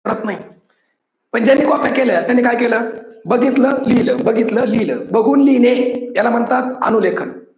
करत नाही. पण ज्यांनी कॉप्या केल्या त्यांनी काय केलं? बघितल लिहील बघितल लिहील, बघून लिहिणे याला म्हणतात अनु लेखन.